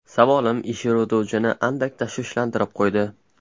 Savolim ish yurituvchini andak tashvishlantirib qo‘ydi.